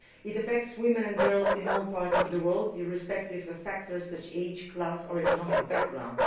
It affects women and girls in all parts of the world, irrespective of factors such as age, class or economic background.